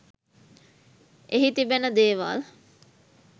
එහි තිබෙන දේවල්